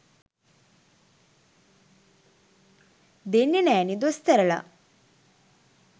දෙන්නෙ නෑනෙ දොස්තරලා